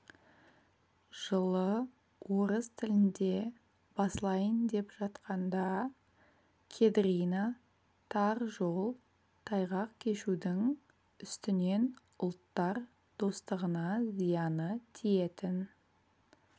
жылы орыс тілінде басылайын деп жатқанда кедрина тар жол тайғақ кешудің үстінен ұлттар достығына зияны тиетін